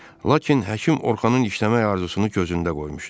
Lakin həkim Orxanın işləmək arzusunu gözündə qoymuşdu.